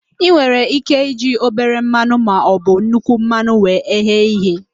I nwere ike iji obere mmanụ maọbụ nnukwu mmanụ wee ghee ihe